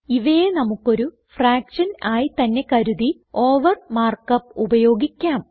ഇവയെ നമുക്കൊരു ഫ്രാക്ഷൻ ആയി തന്നെ കരുതി ഓവർ മാർക്ക് അപ്പ് ഉപയോഗിക്കാം